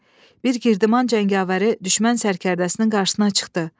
Bir Girdiman cəngavəri düşmən sərkərdəsinin qarşısına çıxdı.